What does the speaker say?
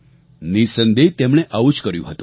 નિઃસંદેહ તેમણે આવું જ કર્યું હતું